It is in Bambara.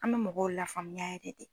An mɛ mɔgɔw lafaamuya yɛrɛ dɛ.